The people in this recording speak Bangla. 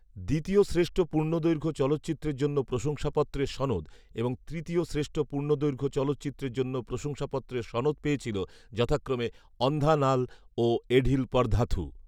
"দ্বিতীয় শ্রেষ্ঠ পূর্ণদৈর্ঘ্য চলচ্চিত্রের জন্য প্রশংসাপত্রের সনদ" এবং "তৃতীয় শ্রেষ্ঠ পূর্ণদৈর্ঘ্য চলচ্চিত্রের জন্য প্রশংসাপত্রের সনদ" পেয়েছিল যথাক্রমে "অন্ধা নাল" ও "এঢিল পরধাথু"